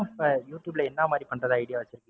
இப்போ யூடுயூப்ல என்ன மாதிரி பண்றதா idea